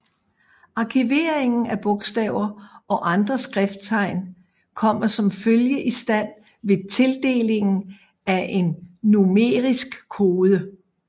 Arkiveringen af bogstaver og andre skrifttegn kommer som følge istand ved tildelingen af en numerisk kode